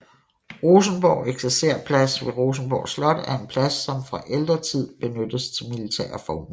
Rosenborg Eksercerplads ved Rosenborg Slot er en plads som fra ældre tid benyttet til militære formål